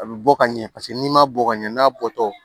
A bɛ bɔ ka ɲɛ paseke n'i ma bɔ ka ɲɛ n'a bɔtɔ